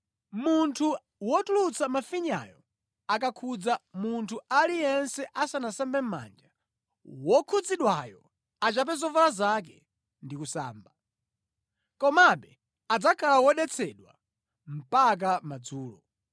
“ ‘Munthu wotulutsa mafinyayo akakhudza munthu aliyense asanasambe mʼmanja, wokhudzidwayo achape zovala zake ndi kusamba. Komabe adzakhala wodetsedwa mpaka madzulo.